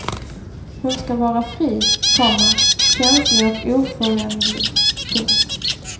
Hon ska vara fri, komma känslig och oföränderlig. punkt